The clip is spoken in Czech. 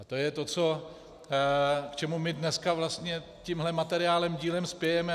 A to je to, k čemu my dneska vlastně tímhle materiálem dílem spějeme.